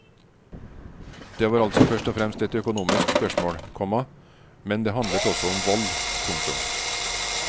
Det var altså først og fremst et økonomisk spørsmål, komma men det handlet også om vold. punktum